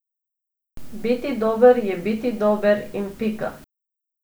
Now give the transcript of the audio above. Biti dober, je biti dober in pika.